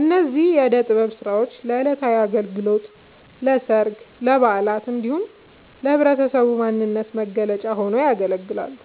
እነዚህ የእደ ጥበብ ስራዎች ለዕለታዊ አገልግሎት፣ ለሠርግ፣ ለበዓላት እንዲሁም ለህብረተሰቡ ማንነት መገለጫ ሆነው ያገለግላሉ።